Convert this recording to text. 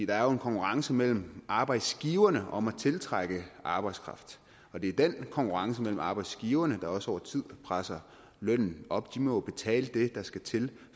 er jo en konkurrence mellem arbejdsgiverne om at tiltrække arbejdskraft det er den konkurrence mellem arbejdsgiverne der også over tid presser lønnen op de må jo betale det der skal til